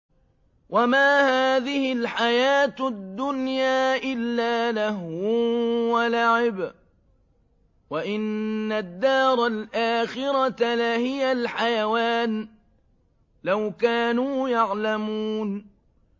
وَمَا هَٰذِهِ الْحَيَاةُ الدُّنْيَا إِلَّا لَهْوٌ وَلَعِبٌ ۚ وَإِنَّ الدَّارَ الْآخِرَةَ لَهِيَ الْحَيَوَانُ ۚ لَوْ كَانُوا يَعْلَمُونَ